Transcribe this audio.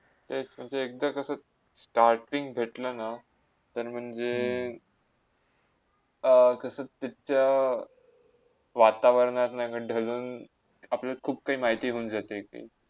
तेस म्हणजे एकदा तसेच starting भेटलाना. तर म्हणजे अ कसे त्याचा वातावरणात ढाळून अपल्या खूप काय माहिती मिळून येते